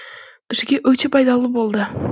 бізге өте пайдалы болды